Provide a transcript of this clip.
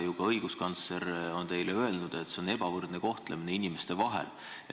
Ka õiguskantsler on teile öelnud, et see on inimeste ebavõrdne kohtlemine.